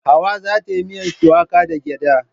Hauwa za ta yi miyan shuwaka da gyada.